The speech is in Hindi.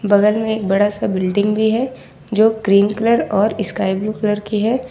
बगल में एक बड़ा सा बिल्डिंग भी है जो क्रीम कलर और स्काई ब्लू कलर की है।